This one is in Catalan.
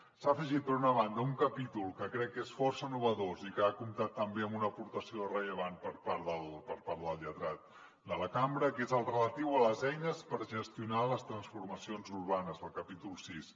s’ha afegit per una banda un capítol que crec que és força innovador i que ha comptat també amb una aportació rellevant per part del lletrat de la cambra que és el relatiu a les eines per gestionar les transformacions urbanes el capítol sis